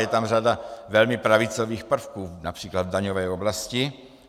Je tam řada velmi pravicových prvků, například v daňové oblasti.